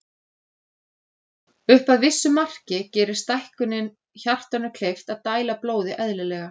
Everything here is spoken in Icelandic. Upp að vissu marki gerir stækkunin hjartanu kleift að dæla blóði eðlilega.